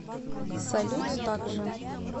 салют так же